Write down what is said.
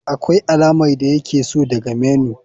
Akwai alamar da yake so daga menu.